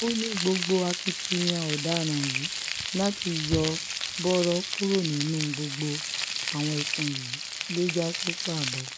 ó ní gbogbo akitiyan ọ̀daràn yìí láti yọ̀ bọ̀rọ̀ kúrò nínú gbogbo àwọn ẹ̀sùn yìí ló já sí pàbó